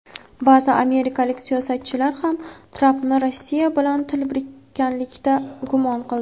Ba’zi amerikalik siyosatchilar ham Trampni Rossiya bilan til biriktirganlikda gumon qildi.